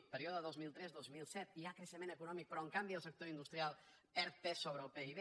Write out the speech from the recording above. període dos mil tres dos mil set hi ha creixement econòmic però en canvi el sector industrial perd pes sobre el pib